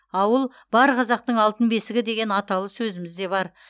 ауыл бар қазақтың алтын бесігі деген аталы сөзіміз де бар